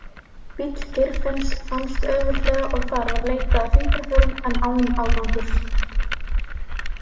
Bíll Geirfinns fannst auðveldlega og þar var leitað að fingraförum en án árangurs.